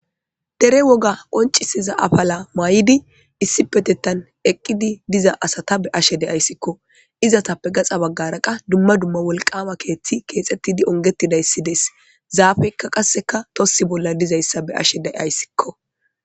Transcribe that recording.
Dere woga qoncisiza afala mayidi issipetettan eqqidi diza asata be'ashe de'aysikko. Izatappe gaxa baggara qa dumma dumma wolqaama keeththi keexettidi onggettidayssi des, zaafeykka qasseka tossi bolla dizayssa be'ashe de'aysikko.